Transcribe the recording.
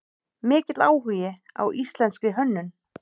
Mikill áhugi á íslenskri hönnun